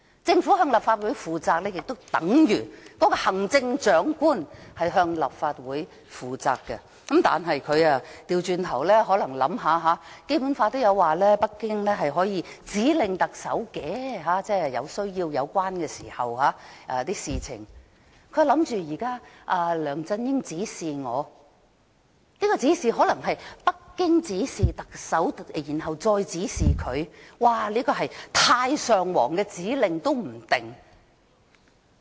政府須向立法會負責，便等同行政長官須向立法會負責，但他卻倒過來，可能因為他想到《基本法》提到北京在有需要時可以就有關事情指令特首，於是想到梁振英現時指示他，可能因為北京指示特首再指示他，說不定這是太上皇的指示。